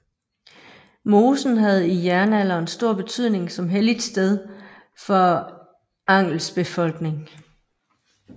Mosen havde i jernalderen stor betydning som helligt sted for Angels befolkning